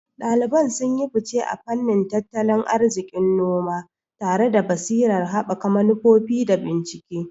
Daliban sun yi fice a fannin tattalin arzikin noma, tare da basirar haɓaka manufofi da bincike.